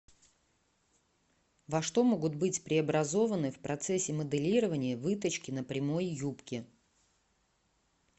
во что могут быть преобразованы в процессе моделирования вытачки на прямой юбке